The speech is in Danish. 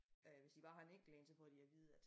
Øh hvis de bare har en enkelt én så får de at vide at